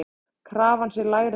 Krafan sé lægri en svo.